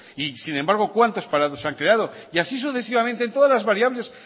y sin embargo cuántos parados han creado y así sucesivamente todas las variables